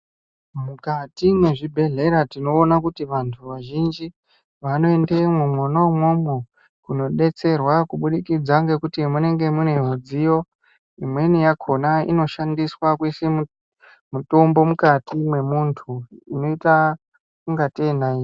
Mukati mwezvibhedhlera tinoona kuti vantu vazhinji vanoendemwo mwona umwomwo kunodetserwa, kubudikidza ngekuti munenge mune mudziyo. Imweni yakhona inoshandiswa kuise mutombo mukati mwemuntu inoita ingatei nayiti.